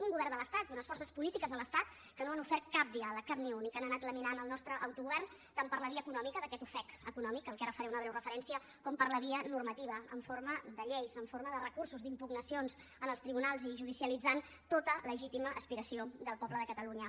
un govern de l’estat i unes forces polítiques de l’estat que no han ofert cap diàleg cap ni un i que han anat laminant el nostre autogovern tant per la via economia d’aquest ofec econòmic al qual ara faré una breu referència com per la via normativa en forma de lleis en forma de recursos d’impugnacions en els tribunals i judicialitzant tota legítima aspiració del poble de catalunya